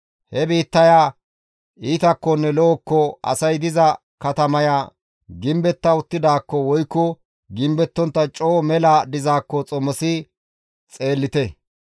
He biittaya iitakkonne lo7okko asay diza katamaya gimbetta uttidaakko woykko gimbettontta coo mela dizaakko xomosi xeellite.